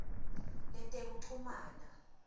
letekuchumana